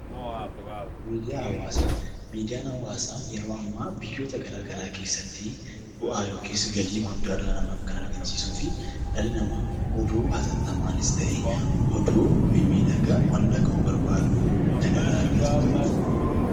Miidiyaan hawaasaa yeroo ammaa biyyoota gara garaa keessatti bu'aa yookiis galii guddaa kan dhala namaaf argamsiisuu fi dhalli namaa oduu hatattamaanis ta'e oduu miidhagaa wanna dhaga'uu barbaadu kan irraa argatudha.